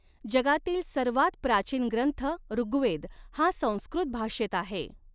जगातील सर्वांत प्राचीन ग्रंथ ऋवेद हा संस्कृत भाषेत आहे.